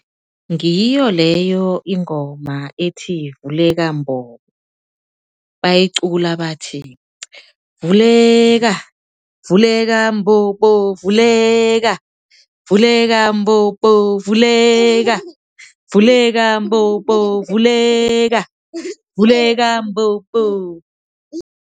Ngiyo leyo ingoma ethi vuleka mbobo, bayicula bathi vuleka vuleka mbobo, vuleka vuleka mbobo, vuleka vuleka mbobo, vuleka vuleka mbobo.